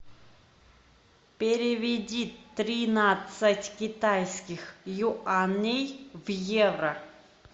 переведи тринадцать китайских юаней в евро